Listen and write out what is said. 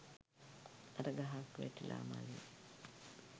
අර ගහක් වැටිලා මළේ